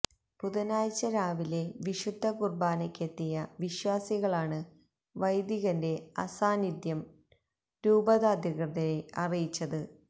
ബുധനാഴ്ച രാവിലെ വിശുദ്ധ കുര്ബാനയ്ക്കെത്തിയ വിശ്വാസികളാണ് വൈദികന്റെ അസാന്നിധ്യം രൂപതാധികൃതരെ അറിയിച്ചത്